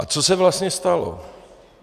A co se vlastně stalo.